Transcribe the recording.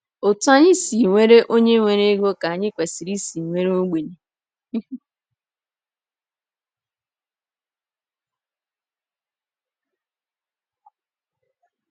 Otú anyị si were onye nwere ego ka anyị kwesịrị isi were ogbenye.